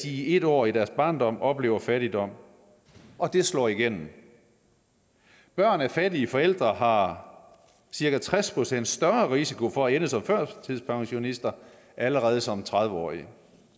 i en år af deres barndom oplever fattigdom og det slår igennem børn af fattige forældre har cirka tres procent større risiko for at ende som førtidspensionister allerede som tredive årige